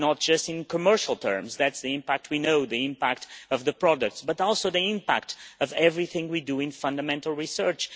Impact matters not just in commercial terms the impact we know, the impact of the product but also in terms of the impact of everything we do in fundamental research.